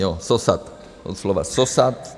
Jo, sosat, od slova sosat.